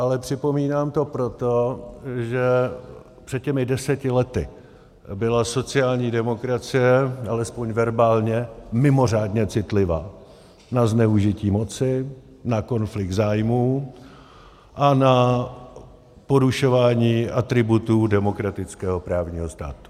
Ale připomínám to proto, že před těmi deseti lety byla sociální demokracie, alespoň verbálně, mimořádně citlivá na zneužití moci, na konflikt zájmů a na porušování atributů demokratického právního státu.